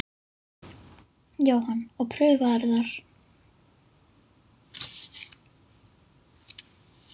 Jóhann: Og prufaðirðu þar?